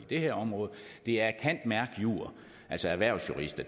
det her område er at cand merc jur altså erhvervsjurist